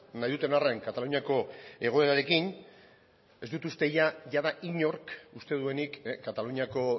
nahi duten arren kataluniako egoerarekin ez dut uste jada inork uste duenik kataluniako